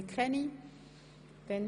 – Dies scheint nicht der Fall zu sein.